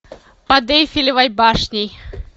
под эйфелевой башней